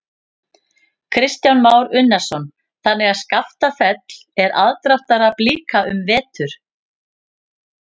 Kristján Már Unnarsson: Þannig að Skaftafell er aðdráttarafl líka um hávetur?